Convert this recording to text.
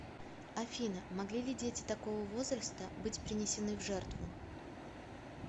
афина могли ли дети такого возраста быть принесены в жертву